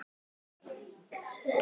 Þar málum við líka egg.